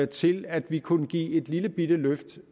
til at vi kunne give et lillebitte løft